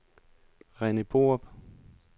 Rene Borup